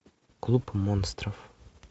клуб монстров